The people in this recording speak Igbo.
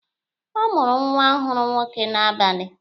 Ọ mụrụ nwa ọhụrụ nwoke n'abalị.